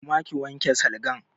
Koma ki wanke salgan!